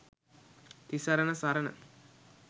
තිසරණ සරණ